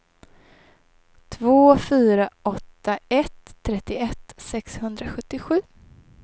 två fyra åtta ett trettioett sexhundrasjuttiosju